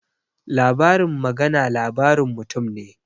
Labarin magana labarin mutum ne